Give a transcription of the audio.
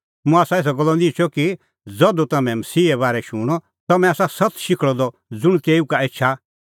मुंह आसा एसा गल्लो निहंचअ कि ज़धू तम्हैं मसीहे बारै शूणअ तम्हैं आसा सत्त शिखल़अ द ज़ुंण तेऊ का एछा